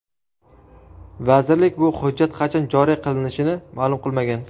Vazirlik bu hujjat qachon joriy qilinishini ma’lum qilmagan.